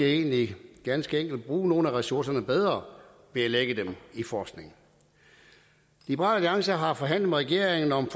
egentlig ganske enkelt bruge nogle af ressourcerne bedre ved at lægge dem i forskning liberal alliance har forhandlet med regeringen om